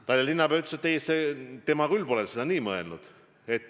Tallinna linnapea ütles, et tema küll pole seda nii mõelnud.